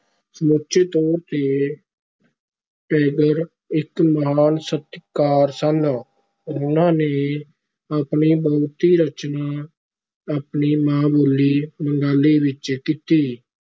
ਸਮੁੱਚੇ ਤੌਰ ਤੇ ਟੇਗਰ ਇਕ ਮਹਾਨ ਸਾਹਿਤਕਾਰ ਸਨ, ਉਹਨਾਂ ਨੇ ਆਪਣੀ ਬਹੁਤੀ ਰਚਨਾ ਆਪਣੀ ਮਾਂ-ਬੋਲੀ ਬੰਗਾਲੀ ਵਿੱਚ ਕੀਤੀ।